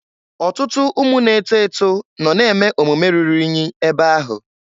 Ọtụtụ ụmụ na-eto eto nọ na-eme omume rụrụ inyi ebe ahụ.